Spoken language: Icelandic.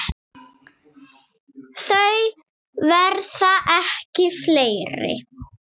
Þau verða ekki fleiri.